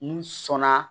N sɔnna